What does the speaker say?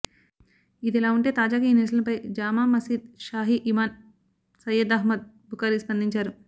ఇదిలా ఉంటే తాజాగా ఈ నిరసనలపై జామా మసీద్ షాహీ ఇమామ్ సయ్యద్ అహ్మద్ బుఖారీ స్పందించారు